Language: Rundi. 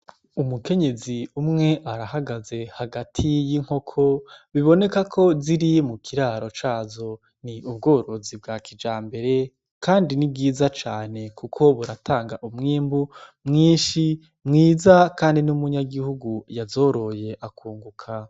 Umukenyezi umwe arahagaze hagati y'inkoko biboneka ko ziri mu kiraro cazo ni ubworozi bwa kija mbere, kandi ni bwiza cane, kuko buratanga umwimbu mwinshi mwiza, kandi n'umunyagihugu yazoroye akunguka.